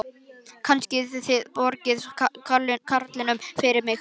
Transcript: Kannski þið borgið karlinum fyrir mig.